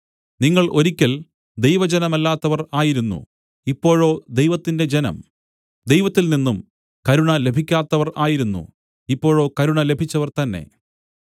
നിങ്ങൾ ഒരിക്കൽ ദൈവജനമല്ലാത്തവർ ആയിരുന്നു ഇപ്പോഴോ ദൈവത്തിന്റെ ജനം ദൈവത്തില്‍നിന്നും കരുണ ലഭിക്കാത്തവർ ആയിരുന്നു ഇപ്പോഴോ കരുണ ലഭിച്ചവർ തന്നേ